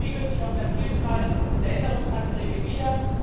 Das spiegelt sich auch in der Vielzahl der Änderungsanträge wieder.